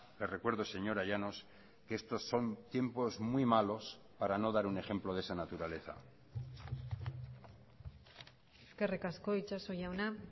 le recuerdo señora llanos que estos son tiempos muy malos para no dar un ejemplo de esa naturaleza eskerrik asko itsaso jauna